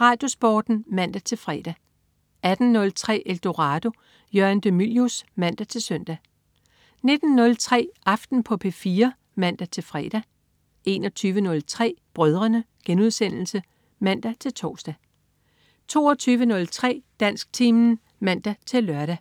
RadioSporten (man-fre) 18.03 Eldorado. Jørgen de Mylius (man-søn) 19.03 Aften på P4 (man-fre) 21.03 Brødrene* (man-tors) 22.03 Dansktimen (man-lør)